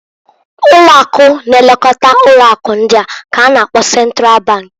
Ụlo̼ akụ na-elekota ụlọ akụ ndị k'a na-akpọ Central Bank.